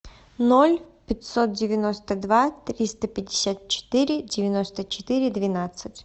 ноль пятьсот девяносто два триста пятьдесят четыре девяносто четыре двенадцать